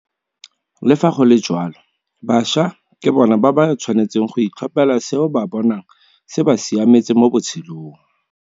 Le fa go le jalo, bašwa ke bona ba ba tshwanetseng go itlhophela seo ba bonang se ba siametse mo botshelong.